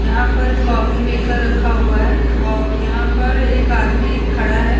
यहाँ पर coffee maker रखा हुआ है और यहाँ पर एक आदमी खड़ा है।